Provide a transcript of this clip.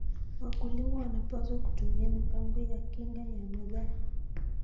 Wakulima wanapaswa kutumia mipango ya kinga ya mazao.